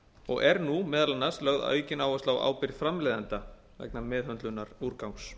og er nú meðal annars lögð aukin áhersla á ábyrgð framleiðenda vegna meðhöndlunar úrgangs